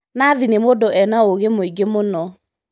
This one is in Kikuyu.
Nathi nĩmũndũ ena ũgĩmwĩingĩmũno.